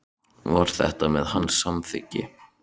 Var þetta með hans samþykki?